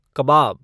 कबाब